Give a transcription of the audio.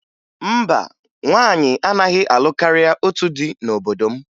Mba, nwaanyị anaghị alụ karịa otu di n'obodo m